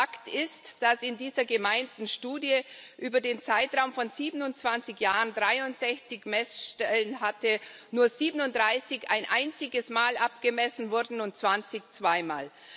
Fakt ist, dass in dieser gemeinten Studie, die über den Zeitraum von 27 Jahren 63 Messstellen hatte, nur 37 ein einziges Mal abgemessen wurden und 20 zwei Mal.